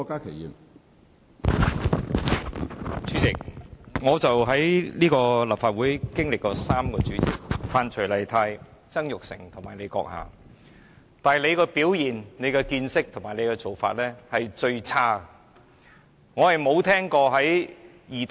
主席，我在立法會經歷過3任主席：范徐麗泰、曾鈺成及你，當中你的表現、見識和做法是最差的。